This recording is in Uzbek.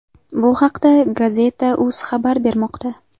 Bu haqda Gazeta.uz xabar bermoqda.